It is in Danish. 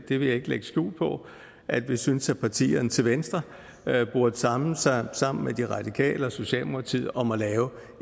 vil ikke lægge skjul på at vi synes at partierne til venstre burde samle sig sammen med de radikale og socialdemokratiet om at lave